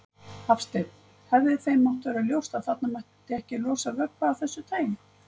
Hafsteinn: Hefði þeim mátt vera ljóst að þarna mætti ekki losa vökva af þessu tagi?